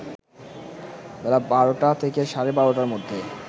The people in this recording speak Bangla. বেলা ১২টা থেকে সাড়ে ১২টার মধ্যে